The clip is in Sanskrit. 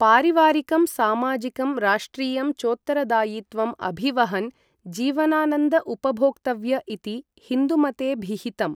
पारिवारिकं सामाजिकं राष्ट्रियं चोत्तरदायित्वम् अभिवहन् जीवनानन्द उपभोक्तव्य इति हिन्दूमतेभिहितम्।